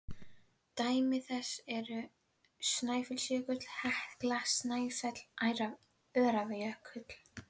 Dæmi þess eru Snæfellsjökull, Hekla, Snæfell og Öræfajökull.